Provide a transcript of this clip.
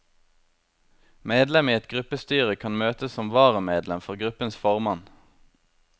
Medlem i et gruppestyre kan møte som varamedlem for gruppens formann.